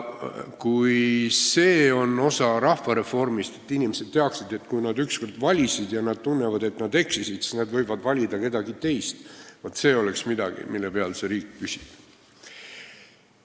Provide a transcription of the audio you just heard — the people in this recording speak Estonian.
Kui see oleks osa rahvareformist, et inimesed teaksid, et kui nad üks kord valisid, aga nad tunnevad, et nad eksisid, siis nad võivad järgmine kord valida kedagi teist, siis see oleks midagi, mille peal see riik püsib.